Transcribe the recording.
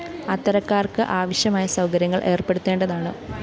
അത്തരക്കാര്‍ക്ക് ആവശ്യമായ സൗകര്യങ്ങള്‍ ഏര്‍പ്പെടുത്തേണ്ടതാണ്